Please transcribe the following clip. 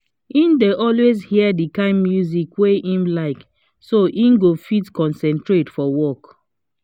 he dey always hear the kind music wey him like so he go fit concentrate for work